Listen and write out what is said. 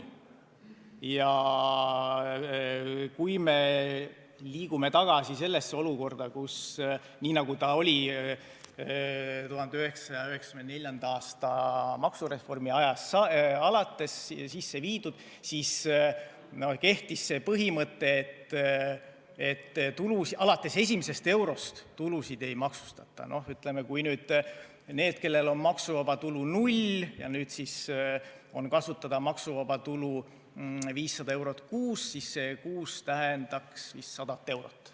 Kui me liigume tagasi sellesse olukorda, nagu see oli 1994. aasta maksureformi ajast alates sisse viidud, kui kehtis see põhimõte, et alates esimesest eurost tulusid ei maksustata, ütleme, et kui nendel, kellel maksuvaba tulu oli null, nüüd on kasutada maksuvaba tulu 500 eurot kuus, siis see kuus tähendaks vist 100 eurot.